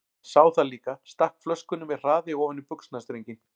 Hann sá það líka, stakk flöskunni með hraði ofan í buxnastrenginn.